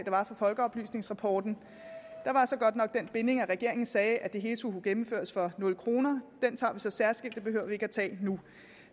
var fra folkeoplysningsrapporten der var så godt nok den binding at regeringen sagde at det hele skulle kunne gennemføres for nul kroner den tager vi så særskilt det behøver vi ikke at tage nu